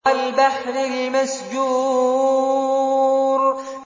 وَالْبَحْرِ الْمَسْجُورِ